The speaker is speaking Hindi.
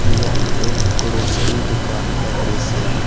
यह एक ग्रोसरी दुकान का दृश्य है।